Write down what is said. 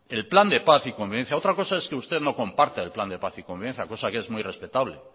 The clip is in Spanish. el plan de paz y convivencia otra cosa es que usted no comparta el plan de paz y convivencia cosa que es muy respetable